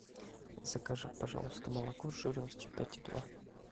закажи пожалуйста молоко с жирностью пять и два